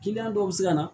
Kiliyan dɔw bɛ se ka na